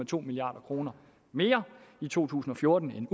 to milliard kroner mere i to tusind og fjorten end